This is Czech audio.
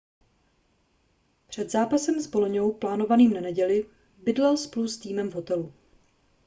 před zápasem s boloňou plánovaným na neděli bydlel spolu s týmem v hotelu